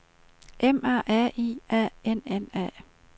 M A R I A N N A